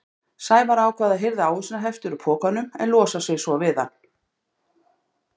Sævar ákvað að hirða ávísanahefti úr pokanum en losa sig svo við hann.